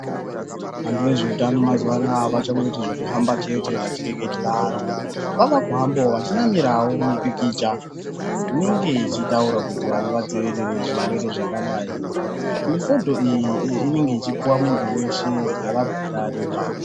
Antu ezveutano mazuva anaya avachangoiti zvekuhamba chete vechireketera vantu, vavekuhambawo vechinamirawo mipikicha inenge yechitaura kuti vantu vadziirire zvirwere zvakadai, mifodho iyi inenge ichipiwa muntu weshe, avabhadhariba.